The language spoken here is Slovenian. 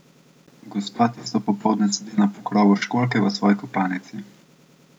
Gospa tisto popoldne sedi na pokrovu školjke v svoji kopalnici.